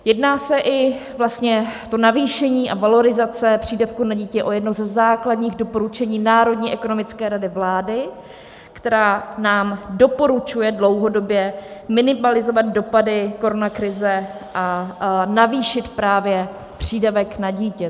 Jedná se i - vlastně to navýšení a valorizace přídavku na dítě - o jedno ze základních doporučení Národní ekonomické rady vlády, která nám doporučuje dlouhodobě minimalizovat dopady koronakrize a navýšit právě přídavek na dítě.